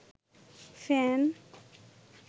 fan